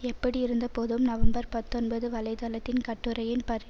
எப்படியிருந்தபோதும் November பத்தொன்பது வலை தளத்தின் கட்டுரையின் பரி